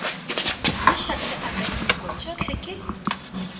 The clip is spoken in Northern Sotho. meshack le abednego tšohle ke